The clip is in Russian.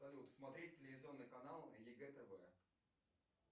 салют смотреть телевизионный канал егэ тв